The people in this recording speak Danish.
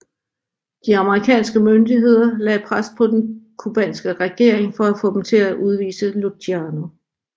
De amerikanske myndigheder lagde pres på den cubanske regering for at få dem til at udvise Luciano